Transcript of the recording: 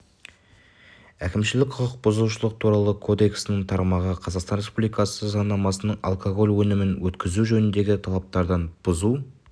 әкімшілік құқық бұзушылық туралы кодексінің тармағы қазақстан республикасы заңнамасының алкоголь өнімін өткізу жөніндегі талаптарын бұзу